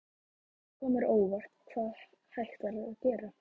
Það kom mér á óvart hvað hægt var að gera.